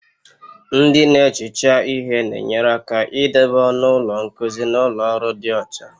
Ndị na-ehicha ihe na-enyere aka idobe ọnụ ụlọ nkuzi na ụlọ ọrụ dị ọcha